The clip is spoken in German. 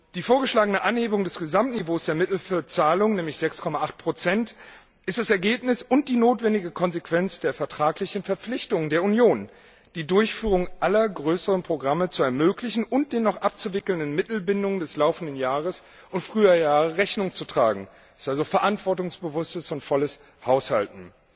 Die vorgeschlagene Anhebung des Gesamtniveaus der Mittel für Zahlungen, nämlich 6,8 ist das Ergebnis und die notwendige Konsequenz der vertraglichen Verpflichtungen der Union, die Durchführung aller größeren Programme zu ermöglichen und den noch abzuwickelnden Mittelbindungen des laufenden Jahres und früherer Jahre Rechnung zu tragen also verantwortungsbewusstes und volles Haushalten.